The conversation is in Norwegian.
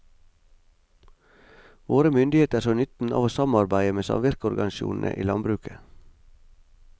Våre myndigheter så nytten av å samarbeide med samvirkeorganisasjonene i landbruket.